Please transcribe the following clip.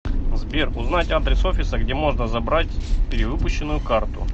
сбер узнать адрес офиса где можно забрать перевыпущенную карту